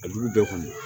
A jugu bɛɛ kɔni